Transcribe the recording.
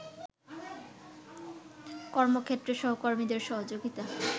কর্মক্ষেত্রে সহকর্মীদের সহযোগিতা